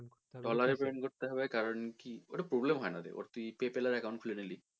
dollar এ payment করতে হবে কারন কি ওটা problem হয়না ওটা তুই PayPal এর account খুলে নিলি,